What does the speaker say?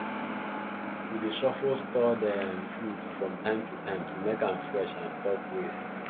we dey shuffle stored um food from time to time to make am fresh and stop waste